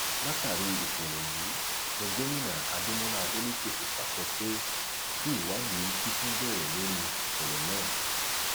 látàrí ìṣẹlẹ yìí ni gomina adémọlá adeleke fi pàṣẹ pé kí ìwádìí kíkún bẹrẹ lórí ìṣẹlẹ náà